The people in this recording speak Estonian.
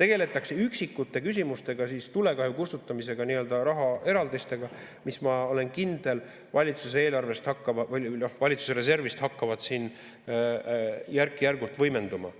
Tegeldakse üksikute küsimustega, tulekahju kustutamisega nii-öelda rahaeraldistega, mis, ma olen kindel, valitsuse reservist hakkavad järk-järgult võimenduma,